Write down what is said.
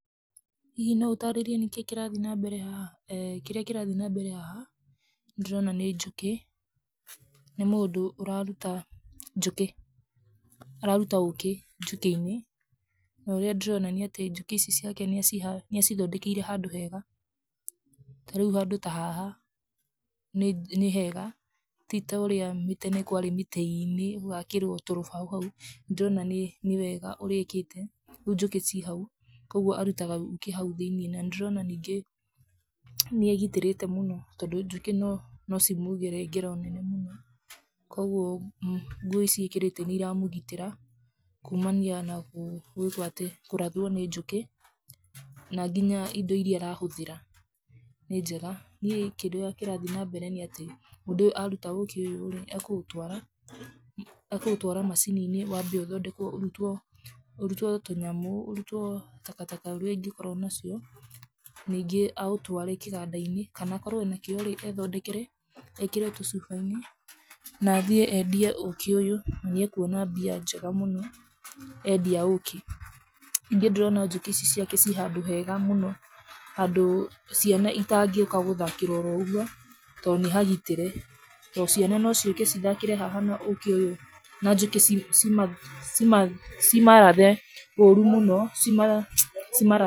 Hihi no ũtarirĩe kĩrĩa kĩrathiĩ na mbere haha, kĩrĩa kĩrathiĩ na mbere haha ,nĩndĩrona nĩ njũkĩ nĩ mũndũ ũraruta njũkĩ ,araruta ũkĩ njũkiinĩ. Norĩa ndĩrona njũkĩ ici ciake nĩacĩthondekeire handũ hega. Tarĩu handũ ta haha nĩ hega. Ti torĩa tene kwarĩ mĩtĩ-inĩ ,ũgakĩrwo tũrũbaũ hau, nĩndĩrona nĩ wega ũrĩa ekĩte rĩu njũkĩ cĩrĩ hau, koguo arutaga njũkĩ hau thĩinĩ. Na nĩndĩrona ningĩ nĩagitĩrĩte mũno ,tondũ njũkĩ no cimũgere ngero nene mũno. Koguo nguo ici ekĩrĩte nĩiramũgitĩra, kumania na kũrathũo nĩ njũkĩ, na nginya indo iria arahũthĩra nĩ njega. kĩndũ kĩrĩa kĩrathiĩ na mbere nĩ atĩ, mũndũ aruta ũkĩ ũyũ akũũtwara machini-inĩ, wambe ũthondekwo ũrutwo tũ nyamũ , ũrutwo takataka ũrĩa ũngĩkorwo nacio, ningĩ aũtware kĩgandai_inĩ. Kana akorwo arĩ nakĩo rĩ ethondekere, ekĩre tũcubai-inĩ na thiĩ endie ũkĩ ũyũ. Niakũona mbia njega mũno endia ũngĩ. Ningĩ ndĩrona njũkĩ ici ciake cirĩ handũ hega mũno handũ ciana citangĩũka gũthakĩra o ũguo tondũ nĩhagitĩre. Tondũ ciana no ciũke cithakĩre haha na njũkĩ cimarathe ũru mũno.